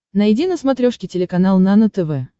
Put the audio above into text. найди на смотрешке телеканал нано тв